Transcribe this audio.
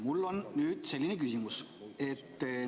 Mul on nüüd selline küsimus.